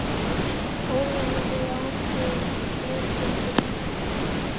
Ólafur hefðu ákveðið að flytja til Ísafjarðar.